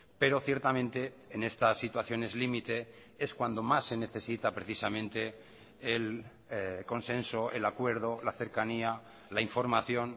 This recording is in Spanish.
pero ciertamente en estas situaciones límite es cuando más se necesita precisamente el consenso el acuerdo la cercanía la información